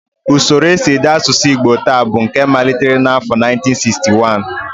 Usoro nsiede asụsụ Igbo taa bụ nke malitere n'afọ 1961